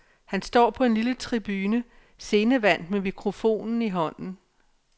Han står på en lille tribune, scenevant med mikrofonen i hånden.